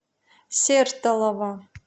сертолово